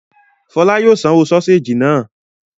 Fọlá yóò sanwó sọ́séjì náà.